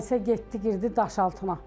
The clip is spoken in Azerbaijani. Sonra isə getdi girdi Daşaltına.